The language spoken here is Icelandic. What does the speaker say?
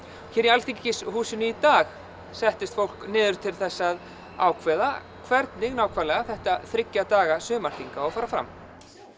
hér í Alþingishúsinu í dag settist fólk niður til þess að ákveða hvernig nákvæmlega þetta þriggja daga sumarþing á að fara fram